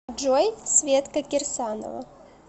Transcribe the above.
джой светка кирсанова